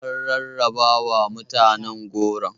An rarrabawa mutane goron.